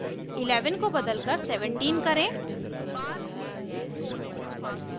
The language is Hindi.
11 को बदलकर 17 करें